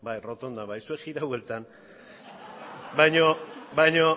errotondan zuek jiratu bueltan baina